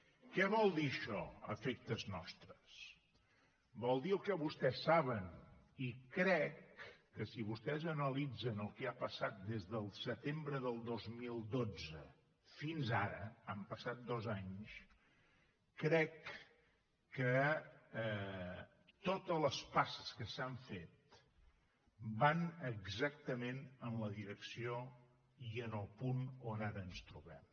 què vol dir això a efectes nostres vol dir el que vostès saben i crec que si vostès analitzen el que ha passat des del setembre del dos mil dotze fins ara han passat dos anys totes les passes que s’han fet van exactament en la direcció i en el punt on ara ens trobem